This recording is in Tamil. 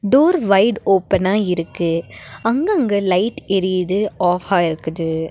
டோர் வைடு ஓப்பனா இருக்கு அங்கங்க லைட் எரியிது ஆஃபா இருக்குது.